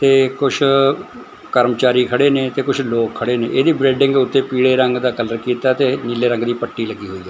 ਤੇ ਕੁਛ ਕਰਮਚਾਰੀ ਖੜੇ ਨੇ ਤੇ ਕੁਝ ਲੋਕ ਖੜੇ ਨੇ ਇਹਦੀ ਬਿਲਡਿੰਗ ਉਥੇ ਪੀਲੇ ਰੰਗ ਦਾ ਕਲਰ ਕੀਤਾ ਤੇ ਨੀਲੇ ਰੰਗ ਦੀ ਪੱਟੀ ਲੱਗੀ ਹੋਈ ਹੈ।